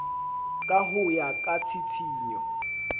ka ho ya ka tshitshinyo